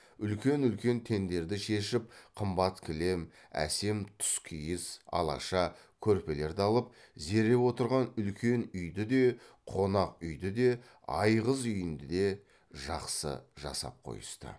үлкен үлкен теңдерді шешіп қымбат кілем әсем тұскиіз алаша көрпелерді алып зере отырған үлкен үйді де қонақ үйді де айғыз үйінді де жақсы жасап қойысты